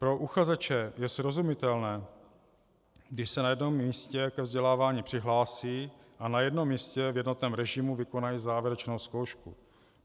Pro uchazeče je srozumitelné, když se na jednom místě ke vzdělávání přihlásí a na jednom místě v jednotném režimu vykonají závěrečnou zkoušku.